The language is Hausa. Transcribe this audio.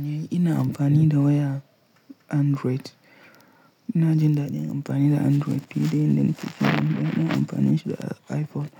Eh ina amfani da waya Android. Ina jin daɗin amfani da Android fiye da yanda nake son in ɗauka in amfani shi da iPhone.